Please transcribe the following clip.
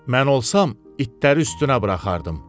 Mən olsam, itləri üstünə buraxardım.